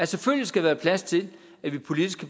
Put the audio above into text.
selvfølgelig skal være plads til at vi politisk